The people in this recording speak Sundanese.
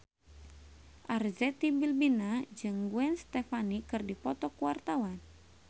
Arzetti Bilbina jeung Gwen Stefani keur dipoto ku wartawan